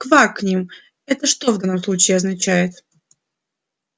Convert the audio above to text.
квакнем это что в данном случае означает